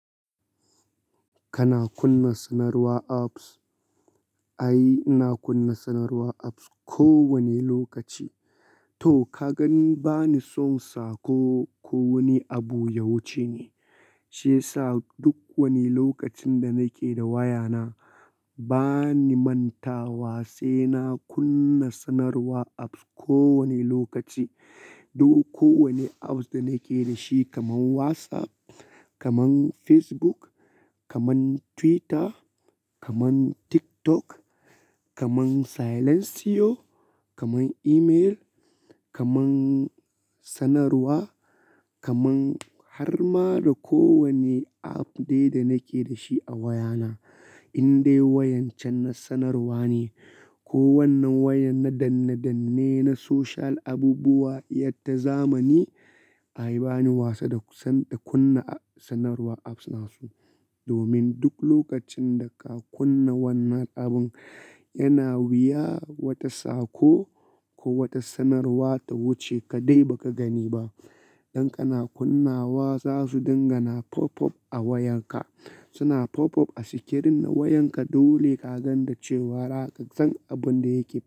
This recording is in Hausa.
Kana kunna sanarwar apps? Ai, ina kunna sanarwar apps kowane lokaci. To ka gani bani son sa ko, ko wani abu ya wuce ni. Shi yasa duk wani lokacin da nake da wayana bani manta wa sai na kunna sanarwar apps kowane lokaci. Duk kowane apps da nake da shi kamar WhatsApp, kamar Facebook, kamar Twitter, kamar TikTok, kamar Silentio, kamar email, kamar sanarwa, kamar har ma da kowane app dai da nake da shi a wayana. In dai wayan can na sanarwa ne ko wannan wayan na danne danne, na social abubuwa, yadda zamani ayi bani wasa da kunna sanarwar apps nasu. Domin duk lokacin da ka kunna wannan abun yana wuya wata saƙo ko wata sanarwa ta wuce ka dai ba ka gani ba. Dan kana kunnawa za su dinga na pop up a wayanka. Suna pop up a sikirin na wayanka dole ka ga da cewa haka zan abun da yake bayana.